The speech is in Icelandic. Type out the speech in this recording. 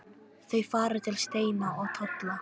Þau fara til Steina og Tolla.